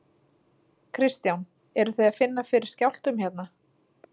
Kristján: Eruð þið að finna fyrir skjálftum hérna?